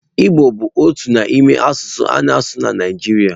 Igbo bụ otu n'ime asụsụ a na-asụ na Naịjirịa.